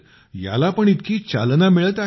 याला पण इतकी चालना मिळत आहे